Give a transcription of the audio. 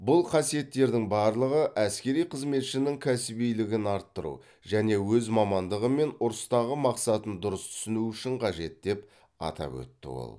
бұл қасиеттердің барлығы әскери қызметшінің кәсібилігін арттыру және өз мамандығы мен ұрыстағы мақсатын дұрыс түсіну үшін қажет деп атап өтті ол